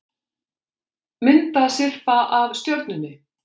Myndasyrpa af Stjörnunni